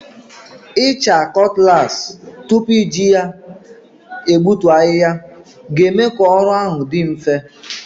Ịcha cutlass tupu iji ya egbutu ahịhịa ga-eme ka ọrụ ahụ dị mfe.